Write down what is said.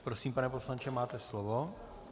Prosím, pane poslanče, máte slovo.